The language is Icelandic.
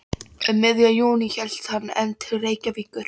Um miðjan júní hélt hann enn til Reykjavíkur.